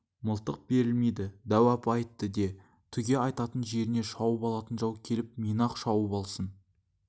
мылтық берілмейді дәу апа айтты де түге айтатын жеріңе шауып алатын жау келіп мені-ақ шауып алсын